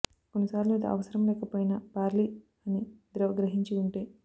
కొన్నిసార్లు అది అవసరం లేకపోయినా బార్లీ అన్ని ద్రవ గ్రహించి ఉంటే